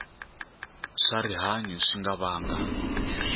swa rihanyu swi nga vanga